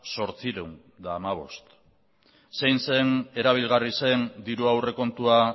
zortziehun eta hamabost zein zen erabilgarri zen diru aurrekontua